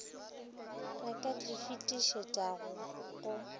a ka di fetišetšago go